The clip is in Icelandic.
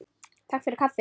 Takk fyrir kaffið.